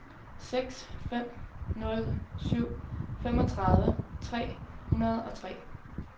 seks fem nul syv femogtredive tre hundrede og tre